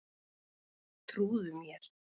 Trúðu mér.